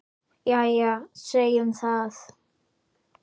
Jæja, segjum það.